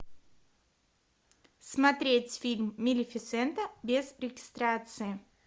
смотреть фильм малефисента без регистрации